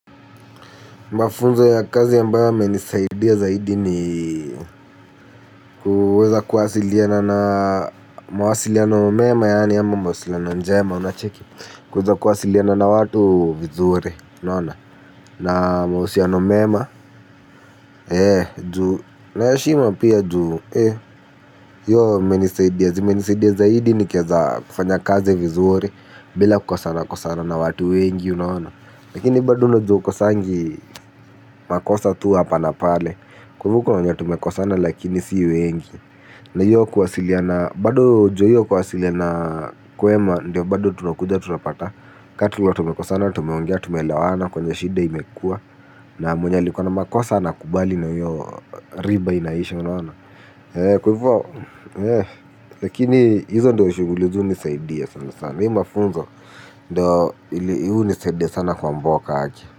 Mafunzo ya kazi ambayo yamenisaidia zaidi ni kuweza kuwasiliana na mawasiliano mema yaani ama mawasiliano njema unacheki. Kuweza kuwasiliana na watu vizuri na mahusiano mema na mwema na ya heshima pia juu hiyo imenisaidia zaidi ni kiaza kufanya kazi vizore bila kukosana kukosana na watu wengi unawana. Lakini baduno joko sangi makosa tu hapa napale. Kwevuko na mwenye tumekosana lakini sii wengi. Na hiyo kuwasiliana. Bado juu hiyo kwasiliana. Kwema ndio bado tunakuja tunapata. Katula tumekosana. Tumeongea tumelawana kwenye shide imekua. Na mwenye likua na makosa ana kubali na hiyo riba inaisha Kws hivo. Lakini hizo ndio shughuli hunisaidia sana sana. Hii mafunzo. Ndio hizi nisede sana kwa mboka aki.